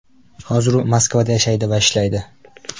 Hozir u Moskvada yashaydi va ishlaydi.